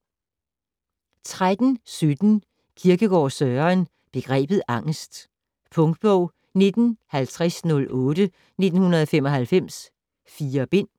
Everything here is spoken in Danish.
13.17 Kierkegaard, Søren: Begrebet Angest Punktbog 195008 1995. 4 bind.